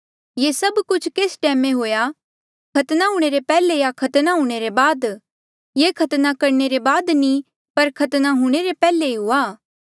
ये सब कुछ केस टैमा हुआ खतना हूंणे रे पैहले या खतना हूंणे रे बाद ये खतने करणे रे बाद नी पर खतना हूंणे रे पैहले ही हुआ